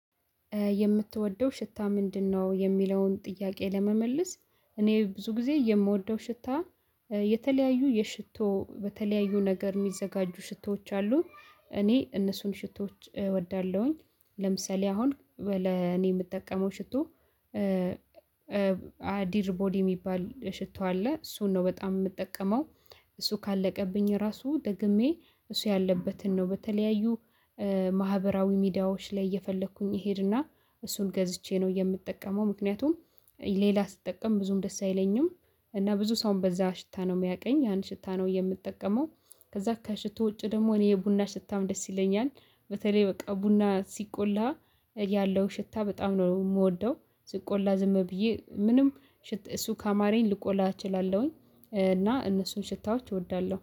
የምትወደው ሽታ ምንድነው የሚለውን ጥያቄ ለመመለስ? እኔ ብዙ ጊዜ የምወደው ሽታ የተለያዩ የሽቶ በተለያዩ ነገር የሚዘጋጁ ሽቶዎች አሉ። እኔ እነሱን ሽቶዎች እወዳለሁኝ። ለምሳሌ አሁን ለኔ የምጠቀመው ሽቶ ቦዲ የሚባል ሽቶ አለ እሱን ነው በጣም የምጠቀመው። እሱ ካለቀብኝ ራሱ ደግሜ እሱ ያለበትን ነው በተለያዩ ማህበራዊ ሚዲያዎች ላይ እየፈለኩኝ እሄድና እሱን ገዝቼ ነው የምጠቀመው ምክንያቱም ሌላ ስጠቀም ብዙም ደስ አይለኝም። እና ብዙ ሰውም በዛ ሽታ ነው የሚያውቀኝ ያን ሽታ ነው የምጠቀመው። ከዛ ከሽቶ ውጪ ደግሞ እኔ የቡና ሽታም ደስ ይለኛል። በተለይ በቃ ቡና ሲቆላ ያለው ሽታ በጣም ነው የምወደው ሲቆላ ዝም ብዬ ምንም እሱ ካማራኝ ልቆላ እችላለሁኝ። እና እነሱን ሽታዎች እወዳለሁ